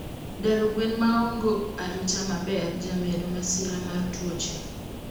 Daro gwen maongo arita maber jamedo masira mar tuoche